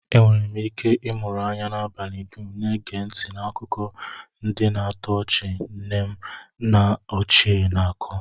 Enwere m ike ịmụrụ anya n'abalị dum, na-ege ntị n'akụkọ ndị na-atọ ọchị nne m ochie na-ako